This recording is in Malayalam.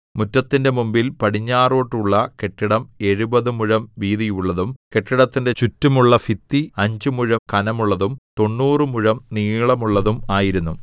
മുറ്റത്തിന്റെ മുമ്പിൽ പടിഞ്ഞാറോട്ടുള്ള കെട്ടിടം എഴുപത് മുഴം വീതിയുള്ളതും കെട്ടിടത്തിന്റെ ചുറ്റുമുള്ള ഭിത്തി അഞ്ച് മുഴം ഘനമുള്ളതും തൊണ്ണൂറു മുഴം നീളമുള്ളതും ആയിരുന്നു